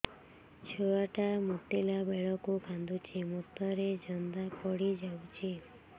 ଛୁଆ ଟା ମୁତିଲା ବେଳକୁ କାନ୍ଦୁଚି ମୁତ ରେ ଜନ୍ଦା ପଡ଼ି ଯାଉଛି